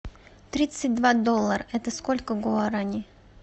тридцать два доллара это сколько гуарани